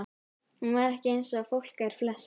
Hún var ekki eins og fólk er flest.